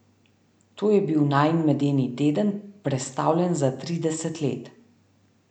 To je bil najin medeni teden, prestavljen za trideset let.